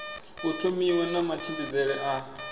u thomiwa na matshimbidzele a